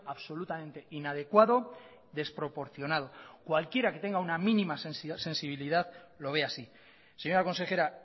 absolutamente inadecuado desproporcionado cualquiera que tenga una mínima sensibilidad lo ve así señora consejera